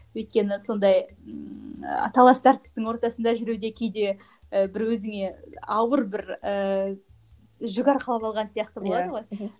өйткені сондай ммм ы талас тартыстың ортасында жүру де кейде і бір өзіңе ауыр бір ііі жүк арқалап алған сияқты болады ғой